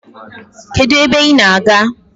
Kedu ebe I na- aga?